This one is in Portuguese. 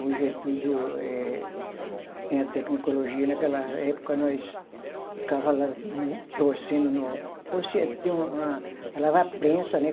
Hoje é tudo eh, tem a tecnicologia, naquela época nós ficava lá torcendo no, torcia, tinha uma, uma lava prensa, né?